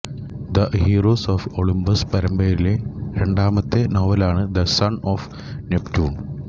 the heroes of Olympus പരമ്പരയിലെ രണ്ടാമത്തെ നോവലാണ് ദ സൺ ഓഫ് നെപ്റ്റ്യൂൺ